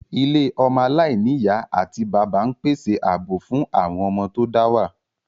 Ilé ọmọ aláìní ìyá àti bàbá ń pèsè ààbò fún àwọn ọmọ tó dá wà